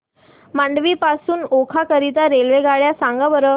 मांडवी पासून ओखा करीता रेल्वेगाड्या सांगा बरं